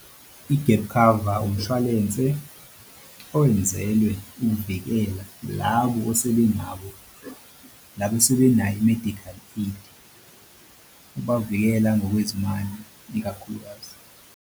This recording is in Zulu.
I-gap cover umshwalense owenzelwe ukuvikela labo asebenayo i-medical aid ukubavikela ngokwezimali ikakhulukazi.